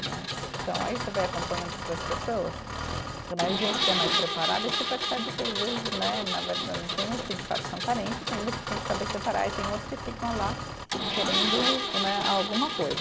Né então, aí você vai acompanhando outras pessoas né, gente que é mais preparada, e você percebe que às vezes né, na verda, tem uns que de fato são carentes tem, mas você tem que saber separar, e tem outros que ficam lá querendo né alguma coisa.